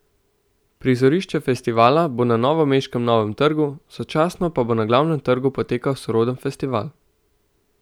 Prizorišče festivala bo na novomeškem Novem trgu, sočasno pa bo na Glavnem trgu potekal soroden festival.